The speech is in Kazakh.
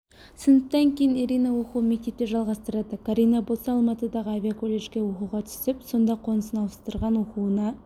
сыныптан кейін ирина оқуын мектепте жалғастырады карина болса алматыдағы авиаколледжге оқуға түсіп сонда қонысын ауыстырған оқуына